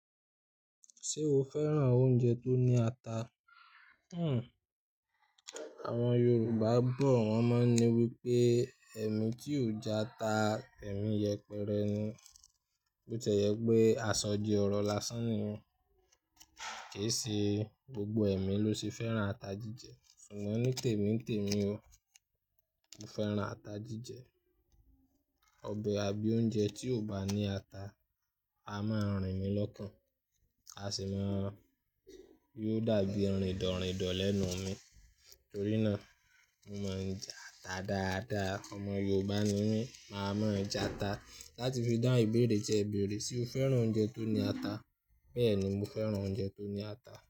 Ṣé o fẹ́ran oúnjẹ tó ní ata? Hmm. Àwọn Yorùbá bọ̀ wọ́n máa ń wí pé "ẹ́mí tí ò jẹ ata, ẹ̀mí yẹpẹrẹ ni", bó tí ẹ́ jẹ pé aṣọ di ọrọ̀ lásán ni yẹn. Kì í ṣe gbogbo ẹ̀mí ló ṣe fẹ́ran ata jíjẹ, ṣùgbọ́n nítèmi nítèmi o, mo fẹ́ran ata jíjẹ. Ọbẹ̀ àbí oúnjẹ tí ò bá ní ata, a máa rìn mí lọ́kàn, a sì má- yió dàbí rindọ̀ rindọ̀ lẹ́nu mi. Nítorí náà, mo mọ n jẹ ata dáadáa. Ọmọ Yorùbá ni mí, màá mọ ẹja ata. Láti fi dá ìbéèrè jẹ ìbéèrè, ṣe o fẹ́ran oúnjẹ tó ní ata? Bẹ́ẹ̀ ni, mo fẹ́ran oúnjẹ tó ní ata.